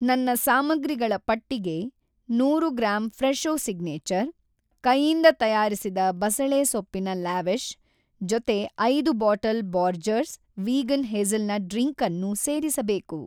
ನನ್ನ ಸಾಮಗ್ರಿಗಳ ಪಟ್ಟಿಗೆ ನೂರು ಗ್ರಾಂ ಫ್ರೆಶೊ ಸಿಗ್ನೇಚರ್ ಕೈಯಿಂದ ತಯಾರಿಸಿದ ಬಸಳೆಸೊಪ್ಪಿನ ಲಾವೆಷ್ ಜೊತೆ ಐದು ಬಾಟಲ್ ಬೋರ್ಜಸ್ ವಿಗಾನ್ ಹೆಝಲ್‌ನಟ್ ಡ್ರಿಂಕನ್ನೂ ಸೇರಿಸಬೇಕು